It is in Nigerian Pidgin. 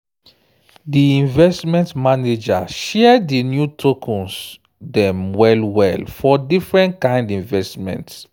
di investment manager share di new tokens dem well-well for different kind investment.